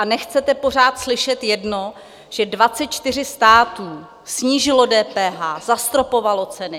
A nechcete pořád slyšet jedno, že 24 států snížilo DPH, zastropovalo ceny.